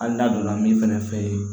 Hali n'a donna min fɛnɛ fɛ yen